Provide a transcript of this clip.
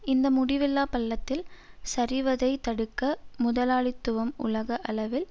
இந்த முடிவில்லா பள்ளத்தில் சரிவதைத் தடுக்க முதலாளித்துவம் உலக அளவில்